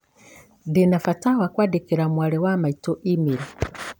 Ndĩ na bata wa kwandĩkĩra mwarĩ wa maitũ e-mail.